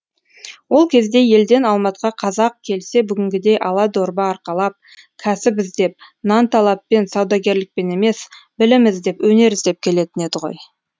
ол кезде елден алматыға қазақ келсе бүгінгідей ала дорба арқалап кәсіп іздеп нанталаппен саудагерлікпен емес білім іздеп өнер іздеп келетін еді ғой